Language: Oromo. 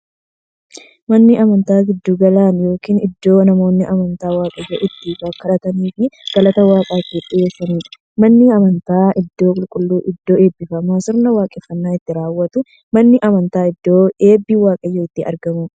Manni amantaa giddu gala yookiin iddoo namoonni amantaa waaqayyoon itti kadhataniifii galata waaqaaf itti dhiyeessaniidha. Manni amantaa iddoo qulqulluufi iddoo eebbifamtuu, sirna waaqeffannaa itti raawwatuudha. Manni amantaa iddoo eebbi waaqayyoo itti argamuudha.